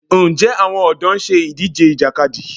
Ǹjẹ́ àwọn ọ̀dọ́ ń ṣe ìdíje Ìjàkadì?